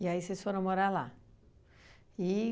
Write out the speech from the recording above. E aí, vocês foram morar lá. E